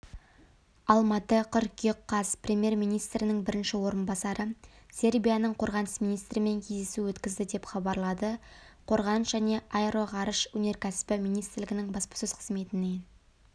алматы қыркүйек қаз премьер-министрінің бірінші орынбасары сербияның қорғаныс министрімен кездесу өткізді деп хабарлады қорғаныс және аэроғарыш өнеркәсібі министрлігінің баспасөз қызметінен